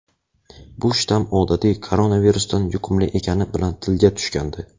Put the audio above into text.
Bu shtamm odatiy koronavirusdan yuqumli ekani bilan tilga tushgandi.